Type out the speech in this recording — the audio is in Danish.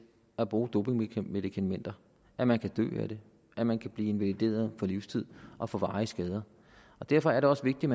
at bruge dopingmedikamenter at man kan dø af det at man kan blive invalideret for livstid og få varige skader derfor er det også vigtigt